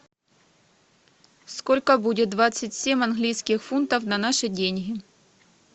сколько будет двадцать семь английских фунтов на наши деньги